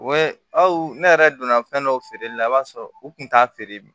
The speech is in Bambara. ne yɛrɛ donna fɛn dɔ feereli la i b'a sɔrɔ u tun t'a feere